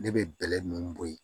Ne bɛ bɛlɛ ninnu bɔ yen